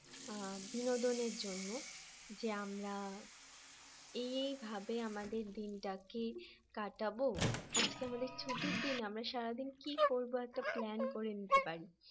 বিনোদন এর জন্য যে আমরা এই এই ভাবে আমাদের দিনটাকে কাটাবো আজকে আমাদের ছুটির দিন আমরা সারাদিন কি করবো একটা plan করে নিতে পারি